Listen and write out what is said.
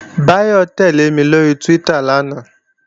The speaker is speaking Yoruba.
Báyọ̀ tẹ́lẹ̀ mi lóri Twitter lánàá